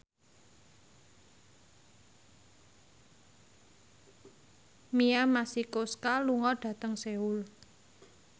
Mia Masikowska lunga dhateng Seoul